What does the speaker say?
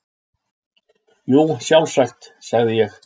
Jú, sjálfsagt, sagði ég.